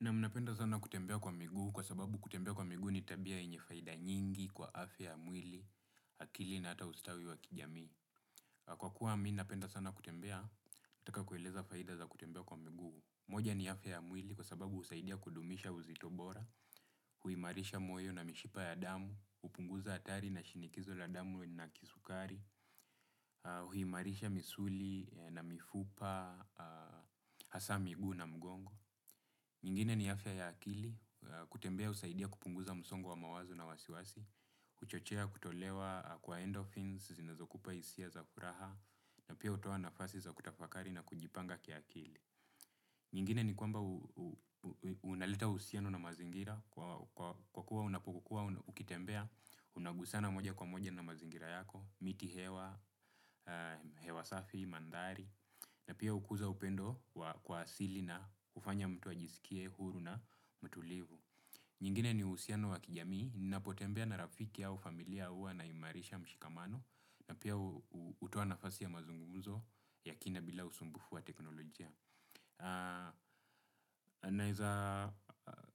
Naam napenda sana kutembea kwa miguu kwa sababu kutembea kwa miguu ni tabia yenye faida nyingi kwa afya ya mwili, akili na ata ustawi wa kijamii. Kwa kuwa mimi napenda sana kutembea nataka kueleza faida za kutembea kwa miguu. Moja ni afya ya mwili kwa sababu husaidia kudumisha uzito bora, huimarisha moyo na mishipa ya damu, hupunguza hatari na shinikizo la damu na kisukari, na huimarisha misuli na mifupa, hasa miguu na mgongo. Nyingine ni afya ya akili, kutembea husaidia kupunguza msongo wa mawazo na wasiwasi, huchochea kutolewa kwa endophins, zinazokupa hisia za furaha, na pia hutoa nafasi za kutafakari na kujipanga kiakili. Nyingine nikwamba unaleta uhusiano na mazingira, kwa kuwa unapokua, ukitembea, unagusana moja kwa moja na mazingira yako, miti hewa, hewa safi, mandhari, na pia hukuza upendo wa kuasili na kufanya mtu ajisikie, huru na mtulivu. Nyingine ni uhusiano wa kijamii, ninapo tembea na rafiki au familia huwa naimarisha mshikamano. Na pia hutoa nafasi ya mazungumzo ya kina bila usumbufu wa teknolojia. Naeza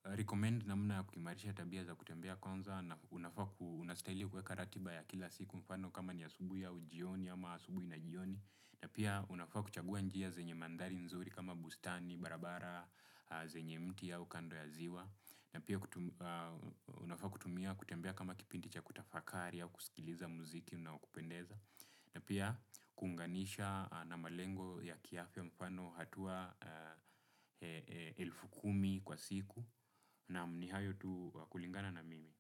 recommend namna ya kuimarisha tabia za kutembea kwanza na unafaku unastahili kuweka ratiba ya kila siku mfano kama ni asubuhi au jioni ama asubuhi na jioni. Na pia unafaa kuchagua njia zenye manthari nzuri kama bustani, barabara, zenye mti au kando ya ziwa. Na pia unafaa kutumia kutembea kama kipindi cha kutafakari au kusikiza mziki unaokupendeza. Na pia kuunganisha na malengo ya kiafya mfano hatua elfu kumi kwa siku naam ni hayo tuu kulingana na mimi.